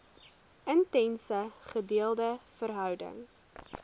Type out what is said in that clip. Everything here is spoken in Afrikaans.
intense gedeelde verhouding